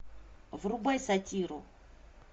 врубай сатиру